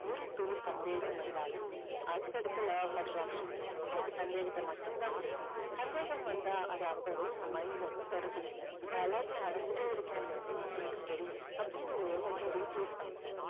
ஒரு துளி சந்தேகம் வந்தாலும் அடுத்தடுத்த law of attraction உங்களுக்கு சந்தேகத்தை மட்டும் தான் கொடுக்கும். சந்தேகம் வந்தா அது அப்போவே உங்க mind ல இருந்து துரத்திடுங்க. நான் எல்லாத்தையும் அடைஞ்சிட்டே இருக்கேன்னு எனக்கு தெரியும் அப்படின்னு உங்க எண்ணத்தை replace பண்ணுங்க.